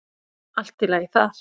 Allt í lagi þar.